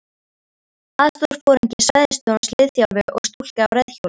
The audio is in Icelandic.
Aðstoðarforingi svæðisstjórans, liðþjálfi og stúlka á reiðhjóli.